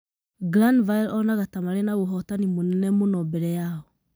Glanville onaga ta marĩ na ũhootani mũnene mũno mbere yao.